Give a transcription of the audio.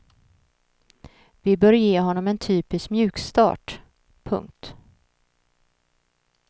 Vi bör ge honom en typisk mjukstart. punkt